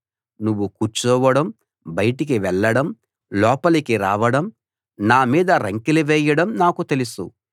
నువ్వు కూర్చోవడం బయటికి వెళ్ళడం లోపలి రావడం నా మీద రంకెలు వేయడం నాకు తెలుసు